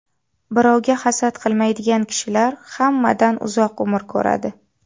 Birovga hasad qilmaydigan kishilar hammadan uzoq umr ko‘radi.